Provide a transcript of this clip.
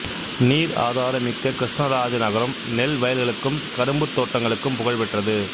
நீர் ஆதாரம் மிக்க கிருஷ்ணராஜநகரம் நெல் வயல்களுக்கும் கரும்புத் தோட்டங்களுக்கும் புகழ்பெற்றது